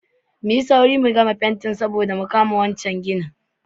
Muyi saure mu gama fentin nan saboda mu je kan wane gine.